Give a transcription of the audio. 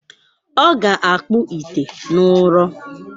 Ọ ga-akpụ ite n’ụrọ.